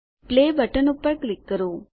play button પર click કરો